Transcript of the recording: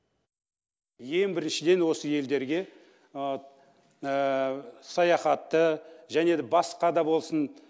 ең біріншіден осы елдерге саяхатты және де басқа да болсын